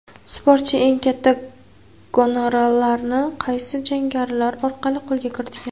Sportchi eng katta gonorarlarini qaysi janglari orqali qo‘lga kiritgan?.